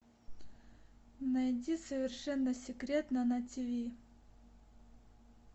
найди совершенно секретно на тиви